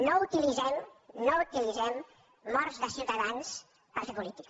no utilitzem no utilitzem morts de ciutadans per fer política